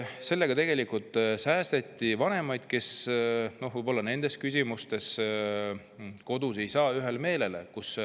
Sellega säästeti vanemaid, kes nendes küsimustes ei jõua võib-olla kodus ühel meelele.